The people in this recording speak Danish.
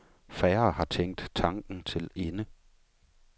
Færre har tænkt tanken til ende.